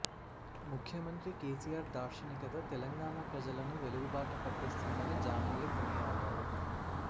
ముఖ్యమంత్రి కెసిఆర్ దార్శనికత తెలంగాణ ప్రజలను వెలుగుబాట పట్టిస్తుందని జానయ్య కొనియాడారు